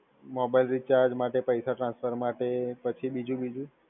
Mobile recharge માટે, પૈસા transfer માટે પછી બીજું બીજું?